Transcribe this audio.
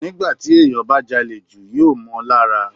Nígbà tí ènìyàn bá jalè jù yóò mọ́ on lára.